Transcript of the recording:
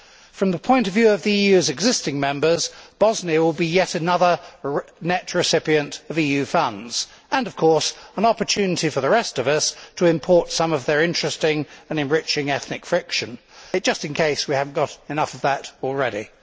From the point of view of the EU's existing members, Bosnia will be yet another net recipient of EU funds and, of course, an opportunity for the rest of us to import some of their interesting and enriching ethnic friction, just in case we have not got enough of that already.